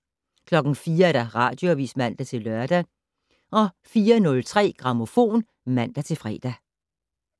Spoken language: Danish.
04:00: Radioavis (man-lør) 04:03: Grammofon (man-fre)